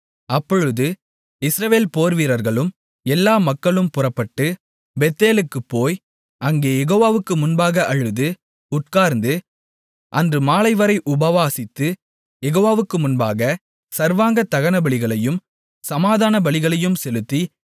அப்பொழுது இஸ்ரவேல் போர்வீரர்களும் எல்லா மக்களும் புறப்பட்டு பெத்தேலுக்குப் போய் அங்கே யெகோவாவுக்கு முன்பாக அழுது உட்கார்ந்து அன்று மாலைவரை உபவாசித்து யெகோவாவுக்கு முன்பாக சர்வாங்க தகனபலிகளையும் சமாதானபலிகளையும் செலுத்தி